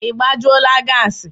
Ị gbajula gassi?